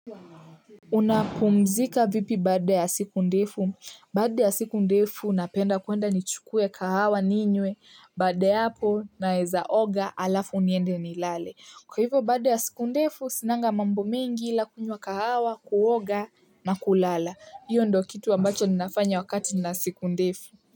Unapumzika vipi baada ya siku ndefu baada ya siku ndefu napenda kwenda nichukue kahawa ninywe baada ya hapo naeza oga alafu niende nilale kwa hivyo baada ya siku ndefu sinanga mambo mengi ila kunywa kahawa kuoga na kulala hiyo ndo kitu ambacho ninafanya wakati nina siku ndefu.